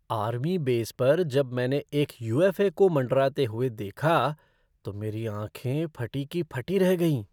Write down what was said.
Army base पर जब मैंने एक यू.एफ़.ओ. को मँडराते हुए देखा तो मेरी आँखें फटी की फटी रह गईं।